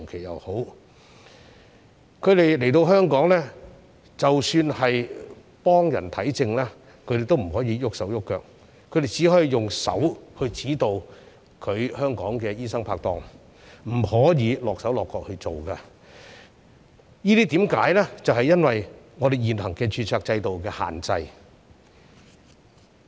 即使他們來到香港替人診症，他們也不可以動手動腳，只可以指導香港的醫生拍檔，自己不能夠落手落腳處理，原因是受到現行註冊制度的限制。